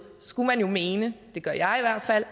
skulle man jo mene det gør jeg i hvert fald